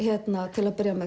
til að byrja með